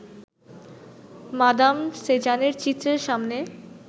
madame সেজানের চিত্রের সামনে